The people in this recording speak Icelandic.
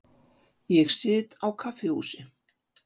Ég sit á kaffihúsi.